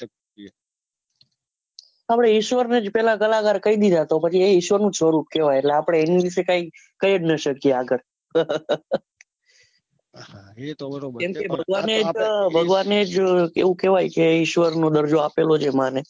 આપડે ઈશ્વર ને જ પહલા કલાકાર કઈ દીધા તો પછી એ ઈશ્વરનો જ સ્વરૂપ કહવાય એટલે આપડે એની વિશે કાઈ જ કહી જ ના શકીએ આગળ ભગવાનેજ એવું કહવાય કે ઈશ્વર નો દર્જો આપેલો છે માં ને